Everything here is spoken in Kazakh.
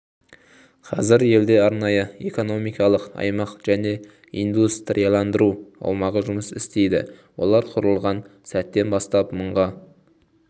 қазір елде арнайы экономикалық аймақ және индустрияландыру аумағы жұмыс істейді олар құрылған сәттен бастап мыңға